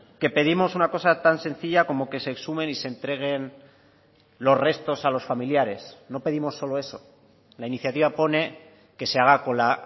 que pedimos una cosa tan sencilla como que se exhumen y se entreguen los restos a los familiares no pedimos solo eso la iniciativa pone que se haga con la